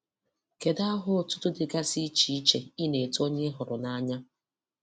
Kedụ aha ọtụtụ dịgasị iche iche ị na-etu onye ị hụrụ nanya?